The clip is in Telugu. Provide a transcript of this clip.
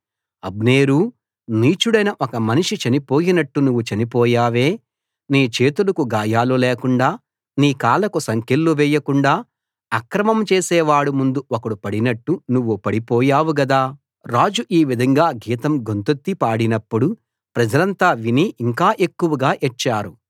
అబ్నేరూ నీచుడైన ఒక మనిషి చనిపోయినట్టు నువ్వు చనిపోయావే నీ చేతులకు గాయాలు లేకుండా నీ కాళ్లకు సంకెళ్లు వేయకుండా అక్రమం చేసేవాడి ముందు ఒకడు పడినట్టు నువ్వు పడిపోయావు గదా రాజు ఈ విధంగా గీతం గొంతెత్తి పాడినప్పుడు ప్రజలంతా విని ఇంకా ఎక్కువగా ఏడ్చారు